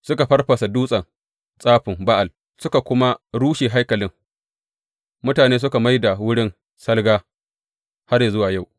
Suka farfasa dutsen tsafin Ba’al, suka kuma rushe haikalin, mutane suka mai da wurin salga har yă zuwa yau.